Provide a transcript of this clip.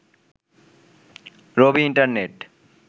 Rabi internet